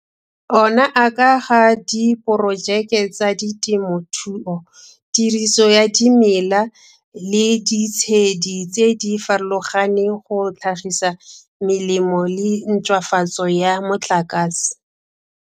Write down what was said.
Ona a ka ga diporojeke tsa temothuo, tiriso ya dimela le ditshedi tse di farologaneng go tlhagisa melemo le a ntšhwafatso ya motlakase.